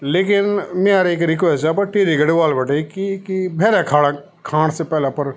लेकिन म्यार एक रिकवेस्ट च आप टिहरी गढ़वाल बिटि की की क भैरा खान खाण से पहली अपर --